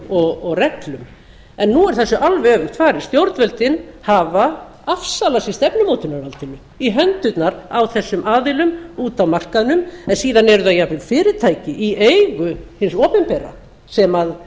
lögum og reglum en nú er þessu alveg öfugt farið stjórnvöldin hafa afsalað sér stefnumótunarvaldinu í hendurnar á þessum aðilum úti á markaðnum en síðan eru það jafnvel fyrirtæki í eigu hins opinbera sem